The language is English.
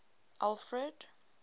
alfred